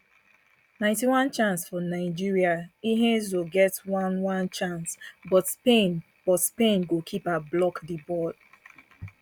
ninety one chance for nigeria ihezuo get oneone chance but spain but spain goalkeeper block di ball